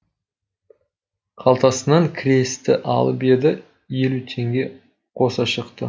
қалтасынан кресті алып еді елу теңге қоса шықты